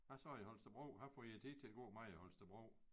Hvad så i Holstebro hvad får I æ tid til at gå med i Holstebro